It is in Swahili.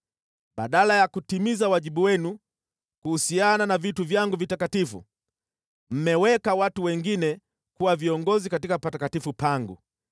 Badala ya kutimiza wajibu wenu kuhusiana na vitu vyangu vitakatifu, mmeweka watu wengine kuwa viongozi katika patakatifu pangu.